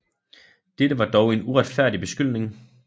Dette var dog en uretfærdig beskyldning